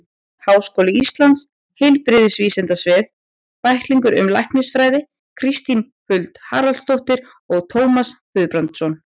Háskóli Íslands: Heilbrigðisvísindasvið- Bæklingur um læknisfræði Kristín Huld Haraldsdóttir og Tómas Guðbjartsson.